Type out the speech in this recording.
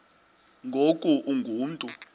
ngoku ungu mntu